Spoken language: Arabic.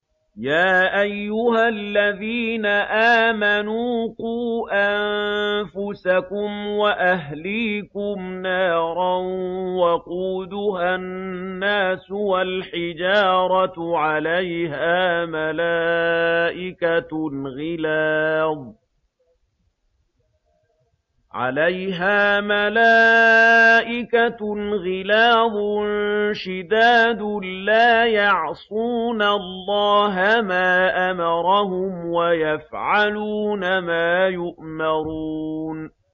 يَا أَيُّهَا الَّذِينَ آمَنُوا قُوا أَنفُسَكُمْ وَأَهْلِيكُمْ نَارًا وَقُودُهَا النَّاسُ وَالْحِجَارَةُ عَلَيْهَا مَلَائِكَةٌ غِلَاظٌ شِدَادٌ لَّا يَعْصُونَ اللَّهَ مَا أَمَرَهُمْ وَيَفْعَلُونَ مَا يُؤْمَرُونَ